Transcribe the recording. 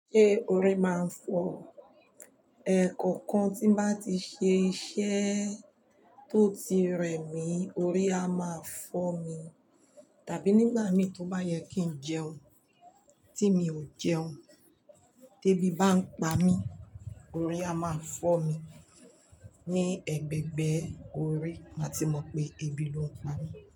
Ṣé orí máa ń fọ́? Ẹ̀, kọ̀ọ̀kan tí bá ti ṣe iṣẹ́ tó ti rẹmi, orí á máa fọ́ mi, tàbí nígbà mí tó bá yẹ kí n jẹun tí mi ò jẹun, tébì bá n pa mí, orí á máa fọ́ mi, ní ẹ̀gbẹ̀gbẹ́ orí ma ti mọ̀ pé ebi ló ń pa mí.